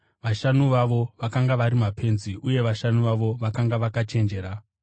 Vashanu vavo vakanga vari mapenzi uye vashanu vavo vakanga vakachenjera.